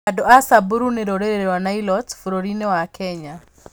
Andũ a Samburu nĩ rũrĩrĩ rwa Nilotes bũrũri-inĩ wa Kenya.